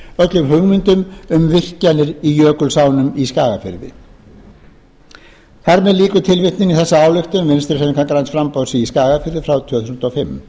öllum hugmyndum um virkjanir í jökulsánum í skagafirði þar með lýkur tilvitnun í þessa ályktun vinstri hreyfingarinnar græns framboðs í skagafirði frá tvö þúsund og fimm